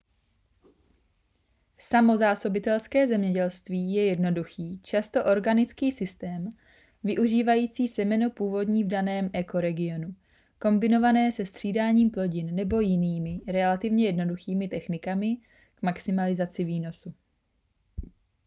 samozásobitelské zemědělství je jednoduchý často organický systém využívající semeno původní v daném ekoregionu kombinované se střídáním plodin nebo jinými relativně jednoduchými technikami k maximalizaci výnosu